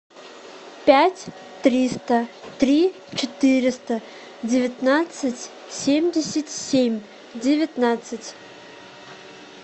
пять триста три четыреста девятнадцать семьдесят семь девятнадцать